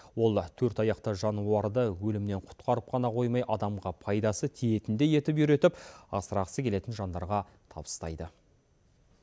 ол төртаяқты жануарды өлімнен құтқарып қана қоймай адамға пайдасы тиетіндей етіп үйретіп асырағысы келетін жандарға табыстайды